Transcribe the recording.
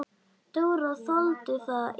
Dóra þoldi það illa.